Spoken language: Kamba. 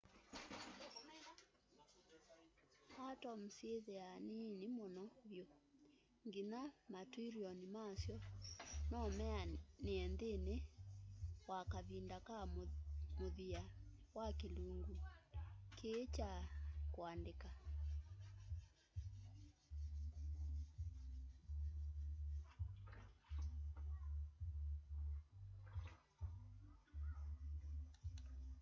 atom syĩthĩaa niini mũno vyũ nginya ma trillion ma'syo nomeanĩe nthĩnĩ wa kavinda ka mũthia wa kĩlungu kĩĩ kya kũandĩka